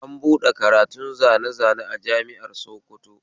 An buɗe karatun zane zane a jami'ar sokoto